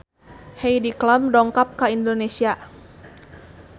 Heidi Klum dongkap ka Indonesia